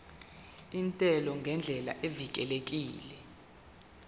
intela ngendlela evikelekile